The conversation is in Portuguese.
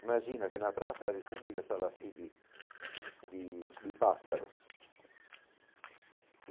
Imagina que na Praça da República estava assim de de de pássaros.